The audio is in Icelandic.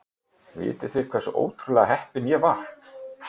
Vitið þið hversu ótrúlega heppinn ég var?